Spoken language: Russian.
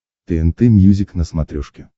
тнт мьюзик на смотрешке